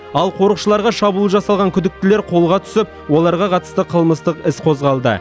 ал қорықшыларға шабуыл жасаған күдіктілер қолға түсіп оларға қатысты қылмыстық іс қозғалды